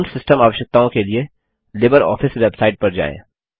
पूर्ण सिस्टम आवश्यकताओं के लिए लिबरऑफिस बेवसाइट पर जाएँ